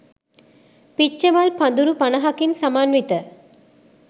පිච්චමල් පඳුරු පනහකින් සමන්විත